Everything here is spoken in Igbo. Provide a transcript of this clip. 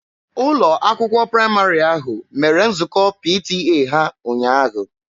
Ụlọ akwụkwọ praịmarị ahụ mere nzukọ PTA ha ụnyaahụ.